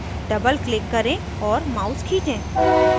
doubleclick करें और mouse खीचें